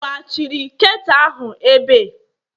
eweghachiri ketu ahụ ebe?